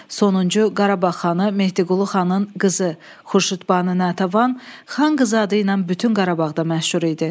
Sonuncu Qarabağ xanı Mehdiqulu xanın qızı Xurşudbanu Natəvan Xan qızı adı ilə bütün Qarabağda məşhur idi.